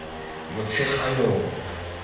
motsheganong